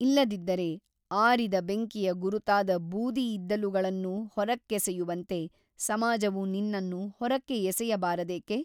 ಇಲ್ಲದಿದ್ದರೆ ಆರಿದ ಬೆಂಕಿಯ ಗುರುತಾದ ಬೂದಿ ಇದ್ದಿಲುಗಳನ್ನು ಹೊರಕ್ಕೆಸೆಯುವಂತೆ ಸಮಾಜವು ನಿನ್ನನ್ನು ಹೊರಕ್ಕೆ ಎಸೆಯಬಾರದೇಕೆ ?